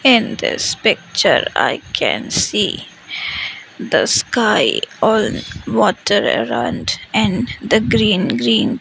in this picture i can see the sky all water around and the green green --